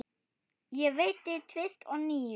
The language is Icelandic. Og veiddi tvist og NÍU.